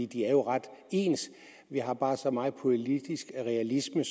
de er jo ret ens vi har bare så meget politisk realisme